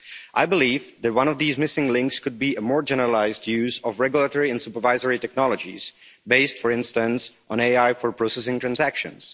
I believe that one of these missing links could be a more generalised use of regulatory and supervisory technologies based, for instance, on AI for processing transactions.